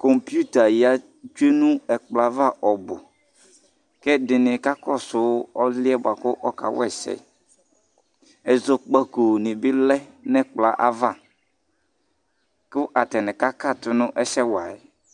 Kzputa abu kaya nu ɛkplɔ ava Kɛdini kakɔsu esɛ kawaii Ɛzɔkpako nibi lɛ nu ɛkplɔ avz ku atani kakatu nɛsɛ buakawa